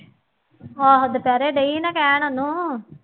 ਆਹੋ ਦੁਪਹਿਰੇ ਡਈ ਸੀ ਨਾ ਕਹਿਣ ਉਹਨੂੰ